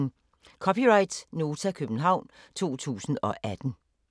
(c) Nota, København 2018